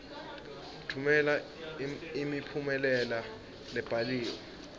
tfumela imiphumela lebhaliwe